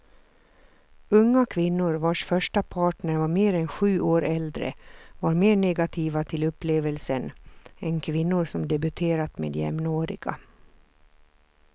Unga kvinnor vars första partner var mer än sju år äldre var mer negativa till upplevelsen än kvinnor som debuterat med jämnåriga.